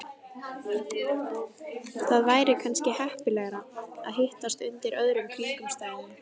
Það væri kannski heppilegra að hittast undir öðrum kringumstæðum